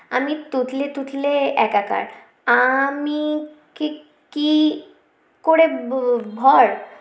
আমি তুতলে তুতলে একাকার আআমি কি কি করে ব ভর